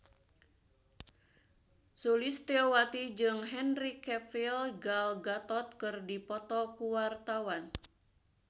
Sulistyowati jeung Henry Cavill Gal Gadot keur dipoto ku wartawan